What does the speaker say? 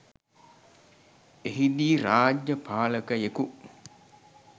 එහිදී රාජ්‍ය පාලකයෙකු